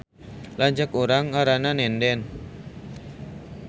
Lanceuk urang ngaranna Nenden